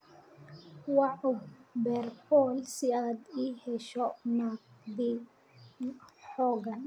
wac uberpool si aad ii hesho naadi xoqan